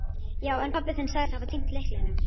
Já, en pabbi þinn sagðist hafa týnt lyklinum.